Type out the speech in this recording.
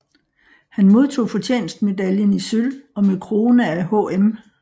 Han modtog Fortjenstmedaljen i sølv og med krone af HM